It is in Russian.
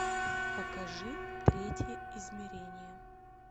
покажи третье измерение